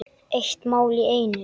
Eitt mál í einu.